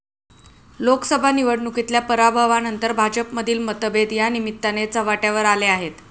लोकसभा निवडणुकीतल्या पराभवानंतर भाजपमधील मतभेद यानिमित्ताने चव्हाट्यावर आले आहेत.